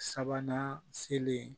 Sabanan selen